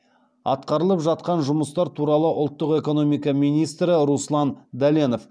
атқарылып жатқан жұмыстар туралы ұлттық экономика министрі руслан дәленов